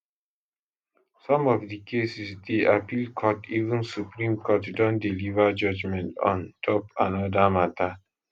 some of the cases dey appeal court even supreme court don deliver judgement on top anoda mata